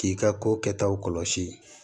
K'i ka ko kɛtaw kɔlɔsi